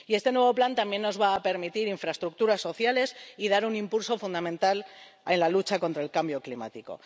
Este nuevo plan también nos va a permitir infraestructuras sociales y dar un impulso fundamental en la lucha contra el cambio climático.